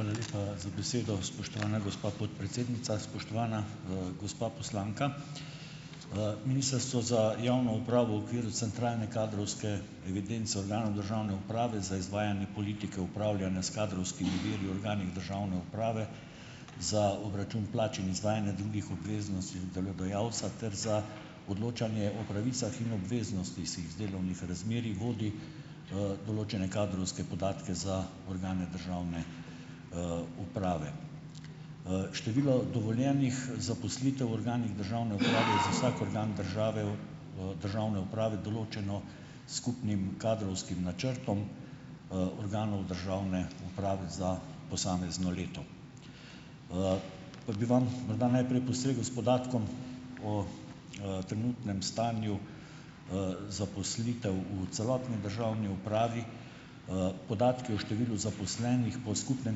Hvala lepa za besedo. Spoštovana gospa podpredsednica, spoštovana, gospa poslanka! Ministrstvo za javno upravo v okviru centralne kadrovske evidence o javnem državne uprave za izvajanje politike upravljanja s kadrovskimi viri v organih državne uprave za obračun plač in izvajanje drugih obveznosti delodajalca ter za odločanje o pravicah in obveznostih iz delovnih razmerij vodi, določene kadrovske podatke za organe državne, uprave. Število dovoljenih, zaposlitev v organih državne uprave za vsak organ države v, državni upravi določeno s skupnim kadrovskim načrtom, organov državne uprave za posamezno leto. Pa bi vam morda najprej posegel s podatkom o, trenutnem stanju, zaposlitev v celotni državni upravi. Podatki o številu zaposlenih po skupnem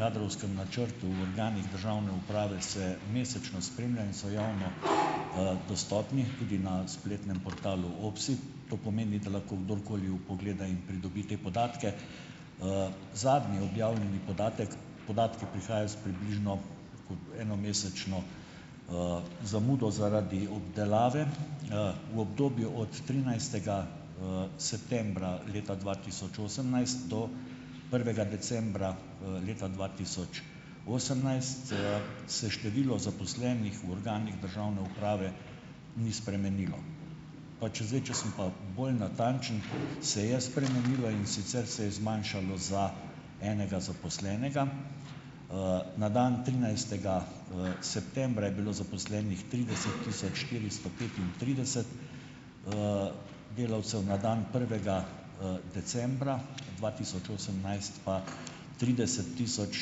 kadrovskem načrtu v organih državne uprave se mesečno spremlja in so javno, dostopni tudi na spletnem portalu OPSI. To pomeni, da lahko kdorkoli vpogleda in pridobi te podatke. Zadnji objavljeni podatek, podatki prihajajo s približno tako enomesečno, zamudo zaradi obdelave. V obdobju od trinajstega, septembra leta dva tisoč osemnajst do prvega decembra, leta dva tisoč osemnajst, se število zaposlenih v organih državne uprave ni spremenilo. Pač zdaj, če sem pa bolj natančen, se je spremenilo, in sicer se je zmanjšalo za enega zaposlenega. Na dan trinajstega, septembra je bilo zaposlenih trideset tisoč štiristo petintrideset, delavcev, na dan prvega, decembra dva tisoč osemnajst pa trideset tisoč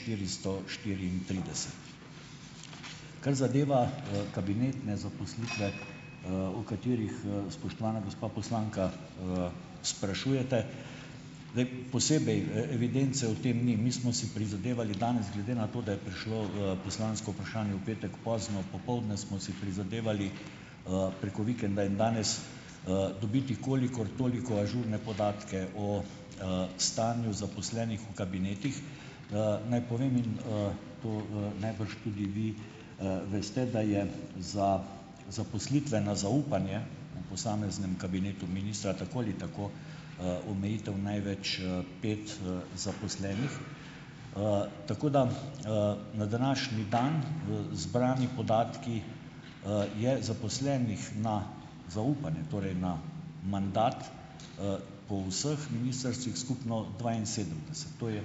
štiristo štiriintrideset. Kar zadeva, kabinetne zaposlitve, o katerih, spoštovana gospa poslanka, sprašujete. Zdaj ... Posebej, evidence v tem ni. Mi smo si prizadevali danes, glede na to, da je prišlo, poslansko vprašanje v petek pozno popoldne, smo si prizadevali, preko vikenda in danes, dobiti kolikor toliko ažurne podatke o, stanju zaposlenih v kabinetih. Naj povem in, to, najbrž tudi vi, veste, da je za zaposlitveno zaupanje v posameznem kabinetu ministra tako ali tako, omejitev največ, pet, zaposlenih, tako da, na današnji dan, zbrani podatki, je zaposlenih na zaupanje, torej na mandat, po vseh ministrstvih skupno dvainsedemdeset. To je,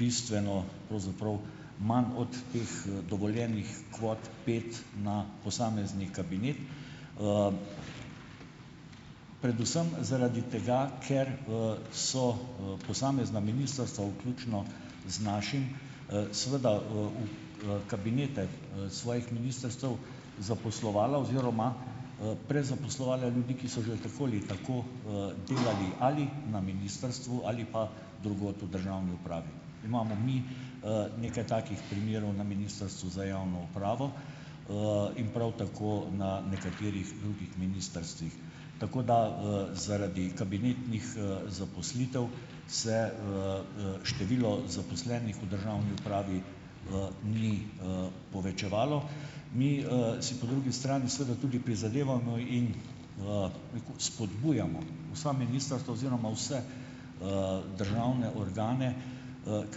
bistveno pravzaprav manj od teh, dovoljenih kvot pet na posamezni kabinet. Predvsem zaradi tega, ker, so, posamezna ministrstva vključno z našim, seveda, v, kabinete, svojih ministrstev zaposlovala oziroma, prezaposlovala ljudi, ki so že tako ali tako, delali ali na ministrstvu ali pa drugod v državni upravi. Imamo mi, nekaj takih primerov na Ministrstvu za javno upravo, in prav tako na nekaterih drugih ministrstvih. Tako da, zaradi kabinetnih, zaposlitev se, število zaposlenih v državni upravi, ni, povečevalo. Mi, si po drugi strani, seveda, tudi prizadevamo in nekako spodbujamo vsa ministrstva oziroma vse, državne organe, k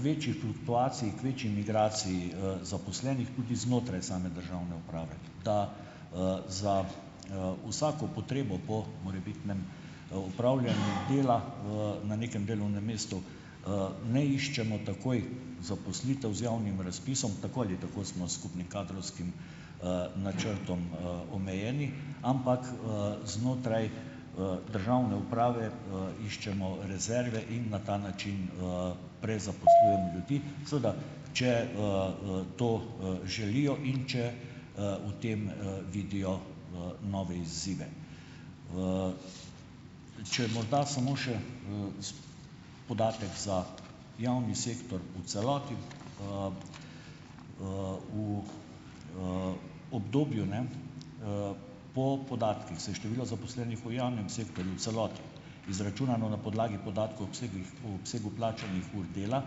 večji fluktuaciji, k večji migraciji, zaposlenih tudi znotraj same državne uprave, da, za, vsako potrebo po morebitnem, opravljanju dela, na nekem delovnem mestu, ne iščemo takoj zaposlitev z javnim razpisom, tako ali tako smo s skupnim kadrovskim, načrtom, omejeni, ampak, znotraj, državne uprave, iščemo rezerve in na ta način, prezaposlujemo ljudi, seveda če, to, želijo in če, v tem, vidijo, nove izzive. Če morda samo še, s podatek za javni sektor v celoti. V, obdobju, ne, po podatkih se je število zaposlenih v javnem sektorju v celoti, izračunano na podlagi podatkov obsegih, po obsegu plačanih ur dela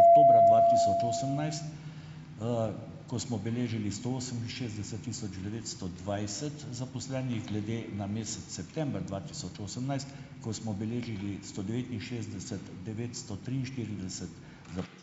oktobra dva tisoč osemnajst, ko smo beležili sto oseminšestdeset tisoč devetsto dvajset zaposlenih glede na mesec september dva tisoč osemnajst, ko smo beležili sto devetinšestdeset devetsto triinštirideset.